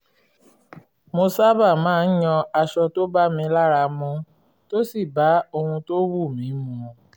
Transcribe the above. mo sábà máa ń yan aṣọ tó bá mi lára mu tó sì bá ohun tó wù mí mu